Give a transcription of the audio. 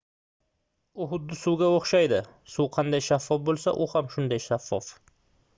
bu xuddi suvga oʻxshaydi suv qanday shaffof boʻlsa u ham xuddi shunday shaffof